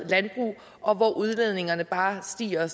landbrug og hvor udledningerne bare stiger